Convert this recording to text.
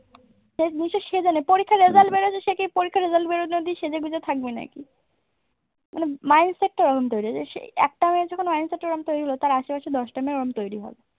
নিচে সেজে নেই পরীক্ষার result বেরোচ্ছে সে কি পরীক্ষার result বেরোনোর অব্দি সেজে গুঁজে থাকবে নাকি? মানে mind set টা ওরম তৈরি আছে একটা মেয়ের যখন mind set টা এরকম তৈরি হয় তাঁর আশেপাশে দশটা মেয়ের অরম তৈরি হয়।